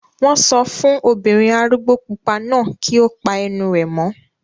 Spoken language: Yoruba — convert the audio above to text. Wọ́n sọ fún obìnrin arúgbó pupa náà kí ó pa ẹnu rẹ̀ mọ́